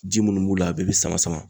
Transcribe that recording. Ji munnu m'u la a bɛɛ bɛ sama sama.